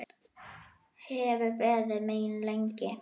Hefur beðið mín lengi.